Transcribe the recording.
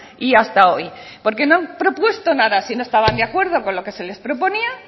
y hasta hoy porque no han propuesto nada si no estaban de acuerdo con lo que se les proponía